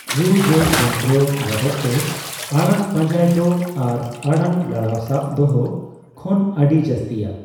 ᱨᱩᱼᱡᱚᱲ ᱡᱚᱱᱛᱨᱚ ᱵᱟᱵᱚᱫᱛᱮ ᱟᱲᱟᱝ ᱯᱟᱸᱡᱟᱭ ᱫᱚ ᱟᱨ ᱟᱲᱟᱝ ᱞᱟᱲᱟᱣ ᱥᱟᱵ ᱫᱚᱦᱚ ᱠᱷᱚᱱ ᱟᱹᱰᱤ ᱡᱟᱹᱥᱛᱤᱭᱟ ᱾